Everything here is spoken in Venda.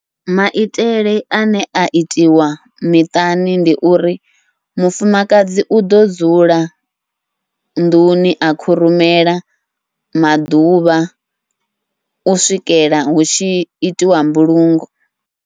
Maitele ane a itiwa miṱani ndi uri, mufumakadzi uḓo dzula nḓuni a khurumela maḓuvha u swikela hu tshi itiwa mbulungo.